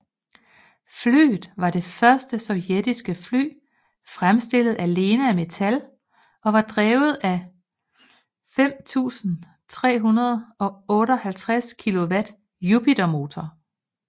Flyet var det første sovjetiske fly fremstillet alene af metal og var drevet af 5 358kW Jupiter motorer